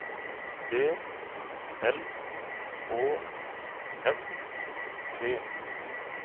B L Å S T